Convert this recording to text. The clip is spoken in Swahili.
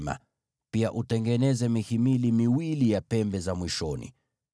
na pia utengeneze mihimili miwili ya pembe za upande ulio mbali.